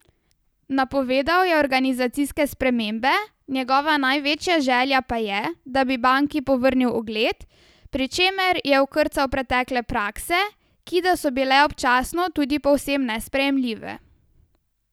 Napovedal je organizacijske spremembe, njegova največja želja pa je, da bi banki povrnil ugled, pri čemer je okrcal pretekle prakse, ki da so bile občasno tudi povsem nesprejemljive.